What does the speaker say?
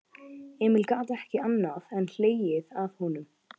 Emil gat ekki annað en hlegið að honum.